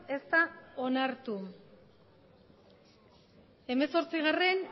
ez da onartu hemezortzigarrena